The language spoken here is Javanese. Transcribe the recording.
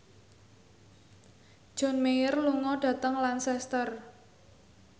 John Mayer lunga dhateng Lancaster